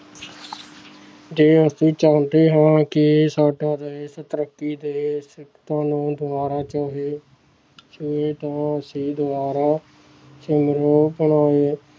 ਜੇ ਅਸੀਂ ਚਾਹੁੰਦੇ ਹਾਂ ਕਿ ਸਾਡਾ ਦੇਸ ਤਰੱਕੀ ਦੇ ਸਿਖਰਤਾ ਨੂੰ ਦੁਬਾਰਾ ਛੂਹੇ ਛੂਹੇ ਤਾਂ ਅਸੀਂ ਦੁਬਾਰਾ